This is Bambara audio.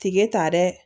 Tike ta dɛ